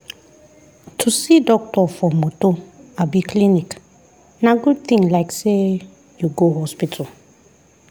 to see doctor for moto abi clinic na good thing like say you go hospital.